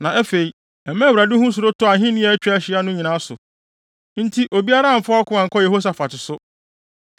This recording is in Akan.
Na afei, ɛmaa Awurade ho suro tɔɔ ahenni a atwa ahyia no nyinaa so, nti obiara amfa ɔko ankɔ Yehosafat so.